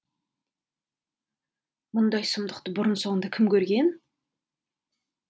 мұндай сұмдықты бұрын соңды кім көрген